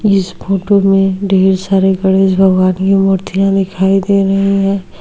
इस फोटो में ढेर सारे गणेश भगवन की मूर्तिया दिखाई दे रही है।